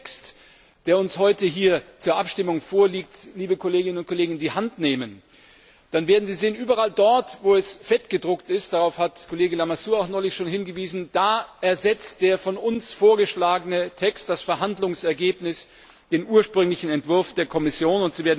Wenn Sie den Text, der uns heute hier zur Abstimmung vorliegt, liebe Kolleginnen und Kollegen, in die Hand nehmen, dann werden Sie sehen Überall dort, wo er fettgedruckt ist darauf hat Kollege Lamassoure auch neulich schon hingewiesen ersetzt der von uns vorgeschlagene Text das Verhandlungsergebnis, den ursprünglichen Entwurf der Kommission.